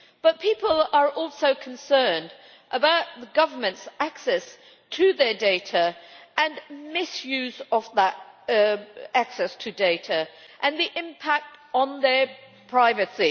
But people are also concerned about government access to their data and misuse of that access and the impact on their privacy.